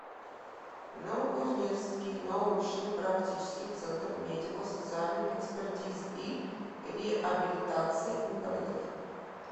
новокузнецкий научно практический центр медико социальной экспертизы и реабилитации инвалидов